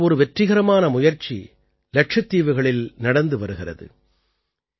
இப்படிப்பட்ட ஒரு வெற்றிகரமான முயற்சி லக்ஷத்தீவுகளில் நடந்து வருகிறது